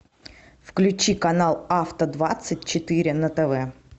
включи канал авто двадцать четыре на тв